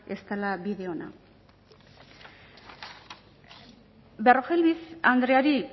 ez dela bide ona berrojalbiz andreari